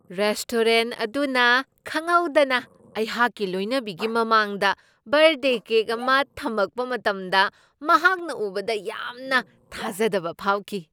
Restaurant ꯑꯗꯨꯅ ꯈꯪꯍꯧꯗꯅ ꯑꯩꯍꯥꯛꯀꯤ ꯂꯣꯏꯅꯕꯤꯒꯤ ꯃꯃꯥꯡꯗ ꯕꯔꯗꯦ ꯀꯦꯛ ꯑꯃ ꯊꯝꯃꯛꯄ ꯃꯇꯝꯗ ꯃꯍꯥꯛꯅ ꯎꯕꯗ ꯌꯥꯝꯅ ꯊꯥꯖꯗꯕ ꯐꯥꯎꯈꯤ ꯫